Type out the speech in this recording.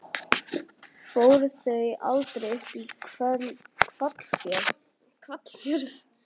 Fóru þau þá aldrei upp í Hvalfjörð?